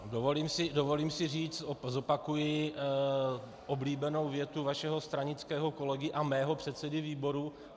Dovolím si říct, zopakuji oblíbenou větu vašeho stranického kolegy a mého předsedy výboru.